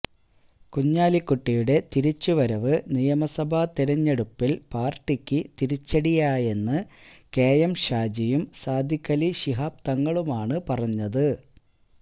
കുഞ്ഞാലിക്കുട്ടിയുടെ തിരിച്ചുവരവ് നിയമസഭാ തെരഞ്ഞെടുപ്പിൽ പാർട്ടിക്ക് തിരിച്ചടിയായെന്ന് കെ എം ഷാജിയും സാദിഖലി ശിഹാബ് തങ്ങളുമാണ് പറഞ്ഞത്